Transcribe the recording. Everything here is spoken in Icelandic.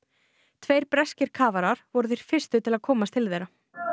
tveir breskir kafarar voru þeir fyrstu til að komast til þeirra